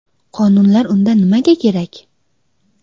Qonunlar unda nimaga kerak?